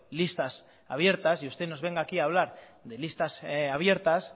listas abiertas y usted nos venga aquí a hablar de listas abiertas